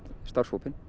starfshópinn